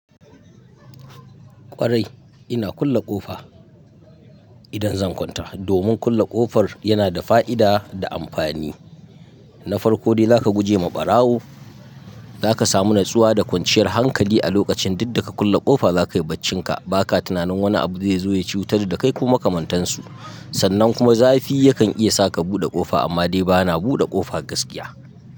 Ƙwarai ina kulle ƙofa idan zan kwanta domin kulle ƙofar yana da fa'ida da amfani. Na farko dai zaka guje ma ɓarawo, zaka samu natsuwa da kwanciyar hankali a lokacin duk da ka kulle ƙofa zakai baccinka ba ka tunanin wani abu zai zo ya cutar da kai ko makamantan su. Sannan kuma zafi ya kan iya sa ka buɗe ƙofa amma dai bana buɗe ƙofa gaskiya.